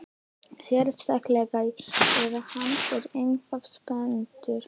Sérstaklega ef hann er eitthvað spenntur.